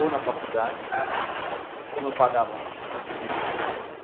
Ou na faculdade, como eu pagava, não tinha.